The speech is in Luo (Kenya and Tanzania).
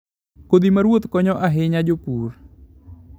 Kodhi ma ruoth konyo ahinya jopur.